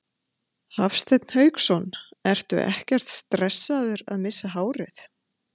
Hafsteinn Hauksson: Ertu ekkert stressaður að missa hárið?